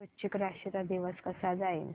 आज वृश्चिक राशी चा दिवस कसा जाईल